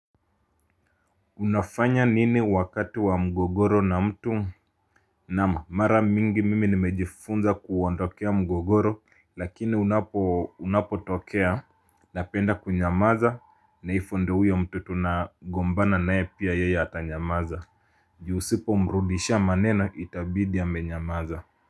Unafanya nini wakati wa mgogoro na mtu. Naam Mara mingi mimi nimejifunza kuondokea mgogoro. Lakini unapotokea, napenda kunyamaza, na ivyo ndio uyo mtu tunagombana naye pia yeye ata nyamaza. Usipomrudishia maneno, itabidi amenyamaza.